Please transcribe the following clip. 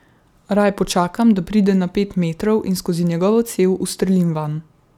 Raje počakam, da pride na pet metrov in skozi njegovo cev ustrelim vanj.